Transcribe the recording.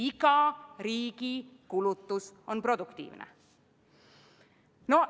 Iga riigi kulutus on produktiivne.